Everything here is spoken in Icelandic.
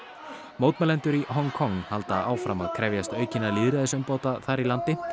mótmælendur í Hong Kong halda áfram krefjast aukinna lýðræðisumbóta þar í landi